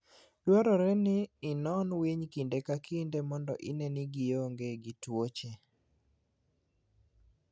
Dwarore ni inon winy kinde ka kinde mondo ine ni gionge gi tuoche.